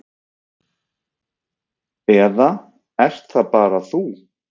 Eða ert það bara þú?